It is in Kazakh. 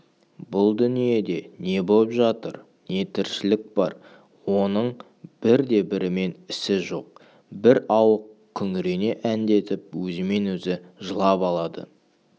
бұл дүниеде не боп жатыр не тіршілік бар оның бірде-бірімен ісі жоқ бір ауық күңірене әндетіп өзімен-өзі жылап алады